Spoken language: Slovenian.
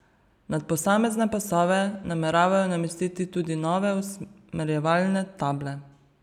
Nad posamezne pasove nameravajo namestiti tudi nove usmerjevalne table.